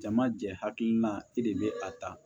Jama jɛ hakilina e de bɛ a ta